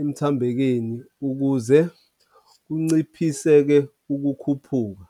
emthambekeni ukuze kunciphiseke ukukhuphuka.